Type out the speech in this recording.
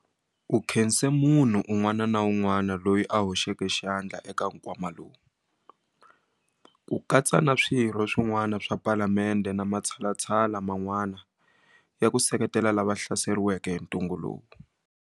U khense munhu un'wana na un'wana loyi a hoxeke xandla eka nkwama lowu, ku katsa na Swirho swin'wana swa Palamende na matshalatshala man'wana ya ku seketela lava va hlaseriweke hi ntungu lowu.